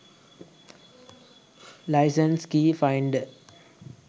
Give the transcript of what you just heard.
license keys finder